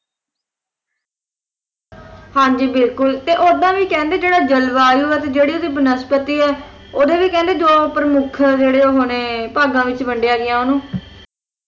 ਹਾਂ ਜੀ ਬਿਲਕੁਲ ਤੇ ਓਦਾਂ ਵੀ ਕਹਿੰਦਾ ਜਿਹੜਾ ਜਲਵਾਯੂ ਹੈ ਜਿਹੜੀ ਓਹਦੀ ਵਨਸੋਤੀ ਹੈ ਓਹਦੇ ਵੀ ਕਹਿੰਦੇ ਜੋ ਪ੍ਰਮੁੱਖ ਜਿਹੜੇ ਉਹ ਨੇ ਭਾਗਾਂ ਵਿੱਚ ਵੰਡਿਆ ਗਿਆ ਓਹਨੂੰ